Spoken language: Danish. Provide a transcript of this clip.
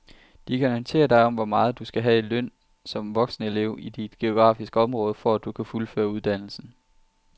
De kan orientere dig om hvor meget du skal have i løn som voksenelev i dit geografiske område, for at du kan fuldføre uddannelsen.